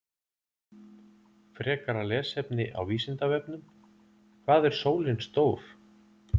Frekara lesefni á Vísindavefnum: Hvað er sólin stór?